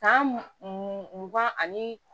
Kan mugan ani